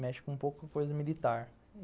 Mexe com um pouco a coisa militar.